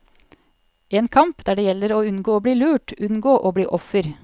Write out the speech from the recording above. En kamp, der det gjelder å unngå å bli lurt, unngå å bli offer.